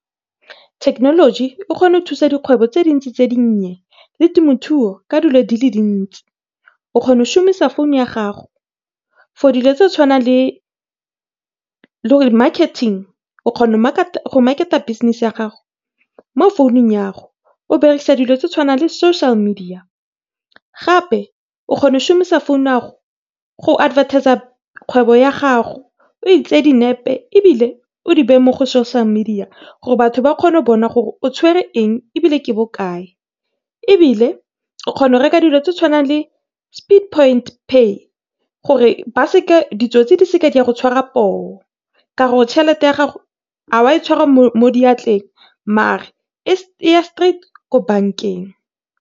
Thekenoloji ekgona go thusa dikgwebo tse dintsi tse di nnye le temothuo ka dilo di le dintsi. O kgona go shumisa founu ya gago for dilo tse tshwanang le marketing. O kgona go market-a business ya gago mo foun-ung yago, o berekisa dilo tse di tshwanang le social media gape o kgona go shumisa foun ya gago go advertiser kgwebo ya gago o e tseye dinepe o e di beye mo social media gore batho ba kgone go bona gore o tshwere eng ebile ke bokae. Ebile o kgona go reka dilo tse di tshwanang le speed point pay gore ba seke ditsotsi di seke di a go tshwara poo, ka gore tšhelete ya gago ga wa e tshwara mo diatleng mare e ya straight ko bank-eng.